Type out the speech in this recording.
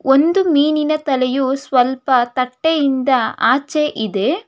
ಒಂದು ಮೀನಿನ ತಲೆಯು ಸ್ವಲ್ಪ ತಟ್ಟೆಯಿಂದ ಆಚೆಯಿದೆ.